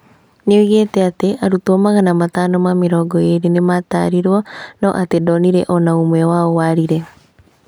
Nĩoigĩte atĩ arutwo magana matano ma mĩrongo ĩrĩ nĩmatarĩtwo na atĩ ndonire ona ũmwe wao warire